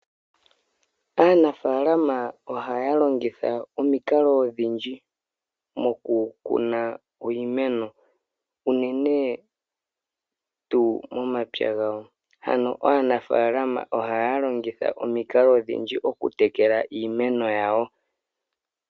Aanafalama ohaya longitha omikalo odhindji oku kuna iimeno uunene tuu momapya gawo. Ano aanafalama ohaya longitha omikalo odhindji oku tekela iimeno yawo.